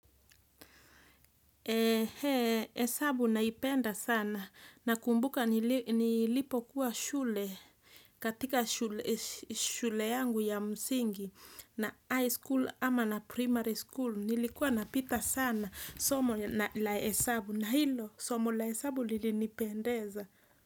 Hesabu naipenda sana. Nakumbuka nilipokuwa shule katika shule yangu ya msingi na high school ama na primary school nilikuwa napita sana somo la hesabu na hilo somo la hesabu lilinipendeza.